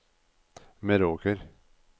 Meråker